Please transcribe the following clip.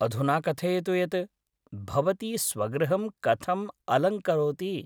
अधुना कथयतु यत् भवती स्वगृहं कथम् अलङ्करोति?